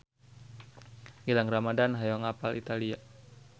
Gilang Ramadan hoyong apal Italia